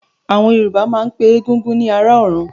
Àwọn Yorùbá máa ń pe Egúngún ni "ará ọ̀run"